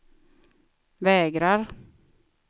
vägrar